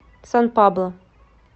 сан пабло